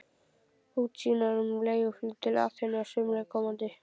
Útsýnar um leiguflug til Aþenu á sumri komanda.